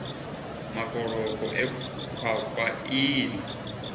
makoloko e khwakhwa ii na